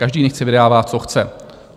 Každý nechť si vydává, co chce.